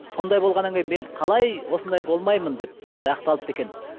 сондай болғаннан кейін мен қалай осындай болмаймын деп солай ақталыпты екен